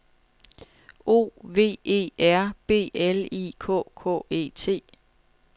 O V E R B L I K K E T